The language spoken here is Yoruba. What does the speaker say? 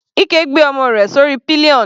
Ike gbé ọmọ rẹ̀ sórí pillion.